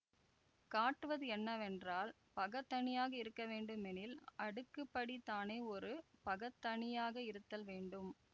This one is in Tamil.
காட்டுவது என்னவென்றால் பகத்தனியாக இருக்க வேண்டுமெனில் அடுக்குப் படி தானே ஒரு பகத்தனியாக இருத்தல் வேண்டும்